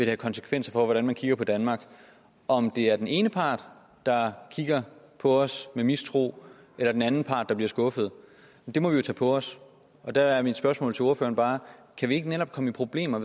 have konsekvenser for hvordan man kigger på danmark om det er den ene part der kigger på os med mistro eller den anden part der bliver skuffet må vi jo tage på os der er mit spørgsmål til ordføreren bare kan vi ikke netop komme i problemer